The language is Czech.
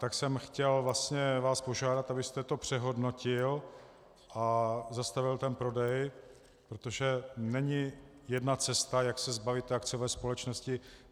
Tak jsem chtěl vlastně vás požádat, abyste to přehodnotil a zastavil ten prodej, protože není jedna cesta, jak se zbavit té akciové společnosti.